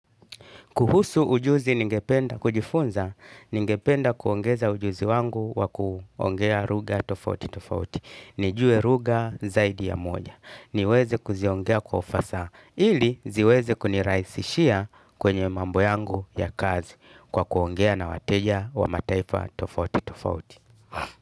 Kuhusu ujuzi ningependa, kujifunza, ningependa kuongeza ujuzi wangu wa kuongea lugha tofauti tofauti. Nijue lugha zaidi ya moja. Niweze kuziongea kwa ufasaha ili ziweze kunirahisishia kwenye mambo yangu ya kazi kwa kuongea na wateja wa mataifa tofauti tofauti.